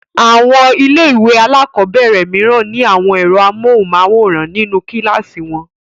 Àwọn ilé-ìwé alákọ̀ọ́bẹ̀rẹ̀ mìíràn ní àwọn ẹ̀rọ amóhùmáwòhán nínú kíláàsì wọn.